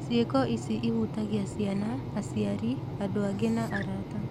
Cĩĩko ici ihutagia ciana, aciari, andũ angĩ na arata.